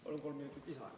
Palun kolm minutit lisaaega.